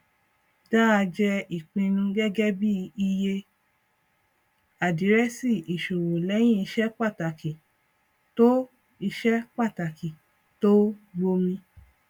dáa jẹ ìpinnu gẹgẹ bí iye àdírẹsì ìṣòwò lẹyìn iṣẹ pàtàkì tó iṣẹ pàtàkì tó gbomi